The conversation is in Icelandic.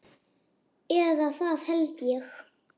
Eða það hélt ég!